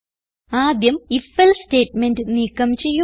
ആദ്യം if else statement നീക്കം ചെയ്യുക